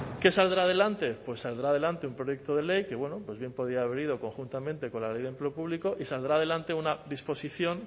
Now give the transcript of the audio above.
qué saldrá adelante saldrá adelante un proyecto de ley que bueno pues bien podía haber ido conjuntamente con la ley de empleo público y saldrá adelante una disposición